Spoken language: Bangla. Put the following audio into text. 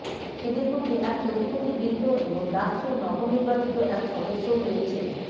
এদের মধ্যে এক প্রতিবন্ধী বৃদ্ধ এবং ডাকসুর নবনির্বাচিত এক সদস্যও রয়েছেন